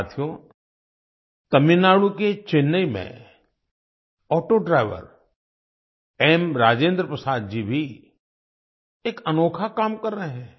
साथियो तमिलनाडु के चेन्नई में ऑटो ड्राइवर एमराजेंद्र प्रसाद जी भी एक अनोखा काम कर रहे हैं